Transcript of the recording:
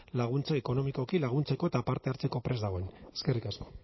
laguntza ekonomikoki laguntzeko eta parte hartzeko prest dagoen eskerrik asko